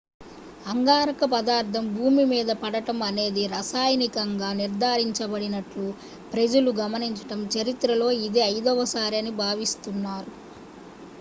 అంగారక పదార్థం భూమిమీద పడటం అనేది రసాయనికంగా నిర్ధారించబడిన ట్లు ప్రజలు గమనించడం చరిత్రలో ఇది ఐదవసారి అని భావిస్తున్నారు